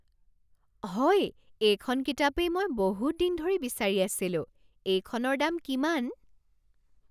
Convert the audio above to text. হয়! এইখন কিতাপেই মই বহুত দিন ধৰি বিচাৰি আছিলোঁ। এইখনৰ দাম কিমান?